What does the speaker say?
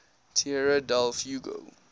tierra del fuego